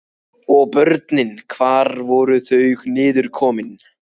Og börnin, hvar voru þau niðurkomin?